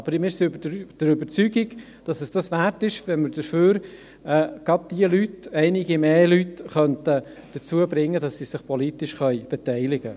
Wir sind aber der Überzeugung, dass es dies wert ist, wenn man dafür gerade jene Leute oder einige Leute mehr dazu bringen könnte, sich politisch zu beteiligen.